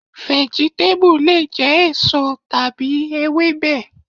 Vẹ̀gítébù lè jẹ́ èso tàbí Ewébẹ̀.